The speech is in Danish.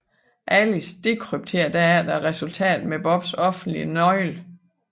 Alice dekrypterer derefter resultatet med Bobs offentlige nøgle